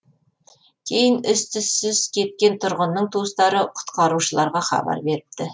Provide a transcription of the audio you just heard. кейін із түссіз кеткен тұрғынның туыстары құтқарушыларға хабар беріпті